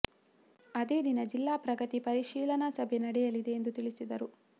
ಅದೇ ದಿನ ಜಿಲ್ಲಾ ಪ್ರಗತಿ ಪರಿಶೀಲನಾ ಸಭೆ ನಡೆಯಲಿದೆ ಎಂದು ತಿಳಿಸಿದರು